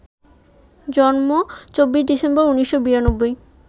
জন্ম, ২৪ ডিসেম্বর ১৯৯২